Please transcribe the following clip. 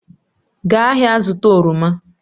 Gaa ahịa zụta oroma